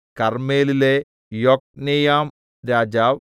കർമ്മേലിലെ യൊക്നെയാംരാജാവ്